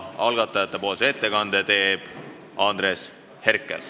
Algatajate nimel teeb ettekande Andres Herkel.